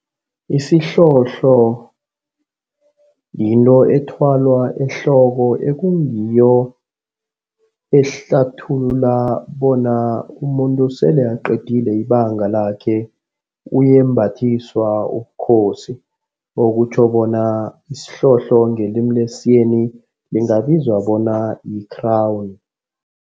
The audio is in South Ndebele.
Isihlohlo yinto ethwalwa ehloko ekungiyo ehlathulula bona umuntu sele aqedile ibanga lakhe. Uyembathiswa ubukhosi okutjho bona isihlohlo ngelimi lesiyeni ingabizwa bona yi-crown.